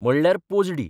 म्हणल्यार पोजडी.